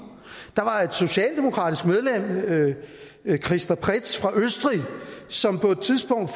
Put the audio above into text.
der var et socialdemokratisk medlem christa prets fra østrig som på et tidspunkt